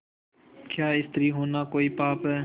क्या स्त्री होना कोई पाप है